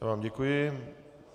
Já vám děkuji.